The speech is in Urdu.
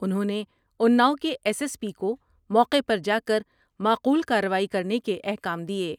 انھوں نے اناؤ کے ایس ایس پی کو موقع پر جا کر معقول کا رروائی کرنے کے احکام دیئے ۔